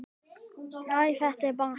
Æ, þetta er bara svona.